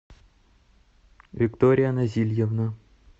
виктория назильевна